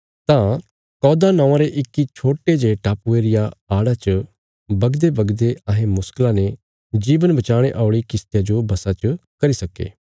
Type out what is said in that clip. तां कौदा नौआं रे इक्की छोट्टे जे टापुये रिया आड़ा च बगदेबगदे अहें मुश्कला ने जीवन बचाणे औल़ी किश्तिया जो वशा च करी सक्के